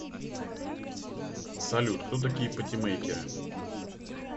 салют кто такие патимейкеры